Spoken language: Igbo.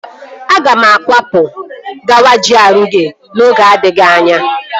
Aga m akwapụ kwaga GRA oge na-adịghị anya